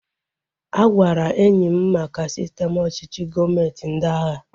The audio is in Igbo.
A gwara enyi m maka sistem ọchịchị gọọmenti ndị agha